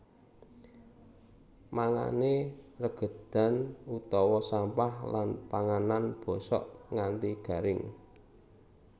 Mangané regedan utawa sampah lan panganan bosok nganti garing